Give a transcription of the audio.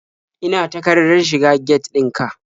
Ina takardar shiga get ɗin ka?